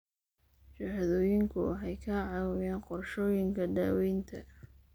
Shahaadooyinku waxay ka caawiyaan qorshooyinka daawaynta.